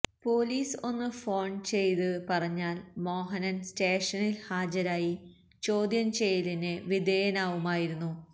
police ഒന്ന് phone ചെയ്ത് പറഞ്ഞാല് മോഹനന് സ്റ്റേഷനില് ഹാജരായി ചോദ്യം ചെയ്യലിന് വിധേയനാവുമായിരുന്നു